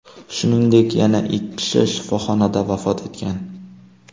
Shuningdek, yana ikki kishi shifoxonada vafot etgan.